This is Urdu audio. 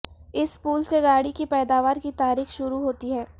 اس پل سے گاڑی کی پیداوار کی تاریخ شروع ہوتی ہے